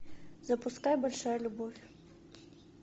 запускай большая любовь